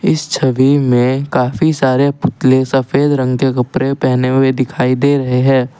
इस छवि में काफी सारे पुतले सफेद रंग के कपड़े पहने हुए दिखाई दे रहे है।